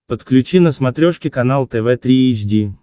подключи на смотрешке канал тв три эйч ди